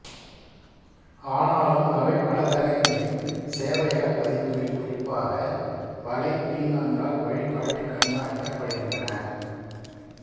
ஆனாலும் அவை வலைத்தளங்களின் சேவையகப் பதிவுகளால் குறிப்பாக வலை பீக்கான்களால் வழிகாட்டிகண்காணிக்கப்படுகின்றன